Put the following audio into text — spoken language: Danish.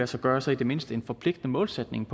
sig gøre så i det mindste en forpligtende målsætning